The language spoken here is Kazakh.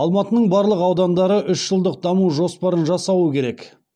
алматының барлық аудандары үш жылдық даму жоспарын жасауы керек